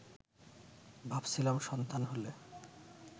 ভাবছিলাম সন্তান হলে